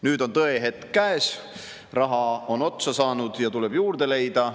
Nüüd on tõehetk käes, raha on otsa saanud ja tuleb juurde leida.